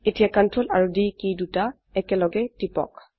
এতিয়া Ctrl আৰু D key দুটি একলগে টিপক